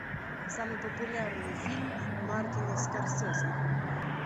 самый популярный фильм мартина скорсезе